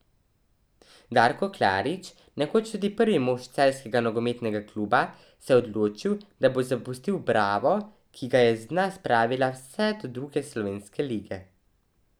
Darko Klarič, nekoč tudi prvi mož celjskega nogometnega kluba, se je odločil, da bo zapustil Bravo, ki ga je z dna spravil vse do druge slovenske lige.